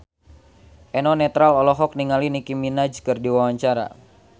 Eno Netral olohok ningali Nicky Minaj keur diwawancara